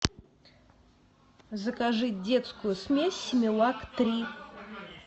закажи детскую смесь симилак три